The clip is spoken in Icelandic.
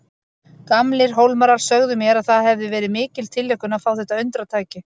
Gamlir Hólmarar sögðu mér að það hefði verið mikil tilhlökkun að fá þetta undratæki.